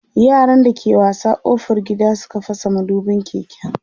yaran da ke wasa ƙofar gida Suka fasa madubin keken